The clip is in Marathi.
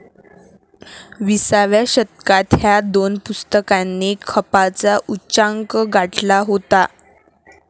विसाव्या शतकात ह्या दोन पुस्तकांनी खपाचा उच्चांक गाठला होता.